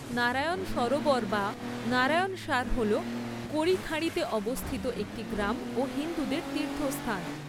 নারায়ণ সরোবর বা নারায়ণসার হল কোরি খাঁড়িতে অবস্থিত একটি গ্রাম ও হিন্দুদের তীর্থস্থান।